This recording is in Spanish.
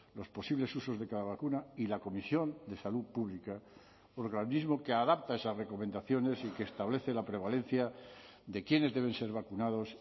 los posibles usos de cada vacuna y la comisión de salud pública organismo que adapta esas recomendaciones y que establece la prevalencia de quiénes deben ser vacunados